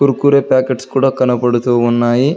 Kurkure packets కూడా కనబడుతూ ఉన్నాయి.